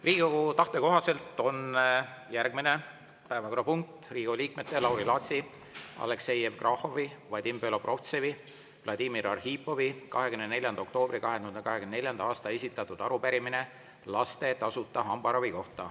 Riigikogu tahte kohaselt on järgmine päevakorrapunkt Riigikogu liikmete Lauri Laatsi, Aleksei Jevgrafovi, Vadim Belobrovtsevi, Vladimir Arhipovi 24. oktoobril 2024. aastal esitatud arupärimine laste tasuta hambaravi kohta.